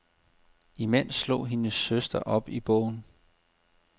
Imens slog hendes søster op i bogen.